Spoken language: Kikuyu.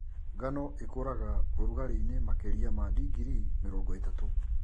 Ngano ĩkũraga ũrũ ũragarĩinĩ makĩria ma digirii mĩrongo ĩtatũ.